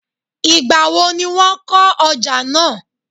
igbawo ni won oja naa?